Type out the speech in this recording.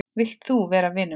Vilt þú vera vinur minn?